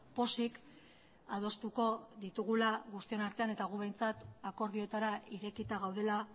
pozik adostuko ditugula guztion artean eta gu behintzat akordioetara irekita gaudela